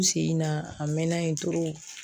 U sen in na a mɛnna yen